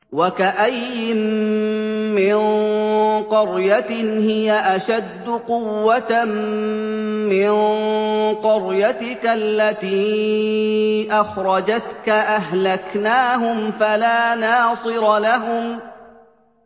وَكَأَيِّن مِّن قَرْيَةٍ هِيَ أَشَدُّ قُوَّةً مِّن قَرْيَتِكَ الَّتِي أَخْرَجَتْكَ أَهْلَكْنَاهُمْ فَلَا نَاصِرَ لَهُمْ